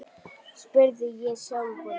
spurði ég sjálfan mig.